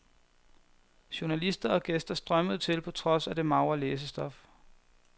Journalister og gæster strømmede til på trods af det magre læsestof.